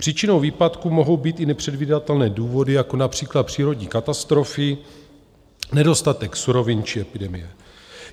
Příčinou výpadku mohou být i nepředvídatelné důvody, jako například přírodní katastrofy, nedostatek surovin či epidemie.